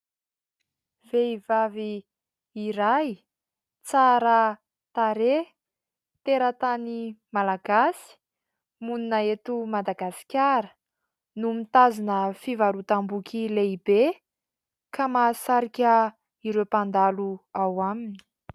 Vehivavy iray tsara tarehy, teratany Malagasy, monina eto Madagasikara no mitazona fivarotam-boky lehibe ka mahasarika ireo mpandalo ao aminy.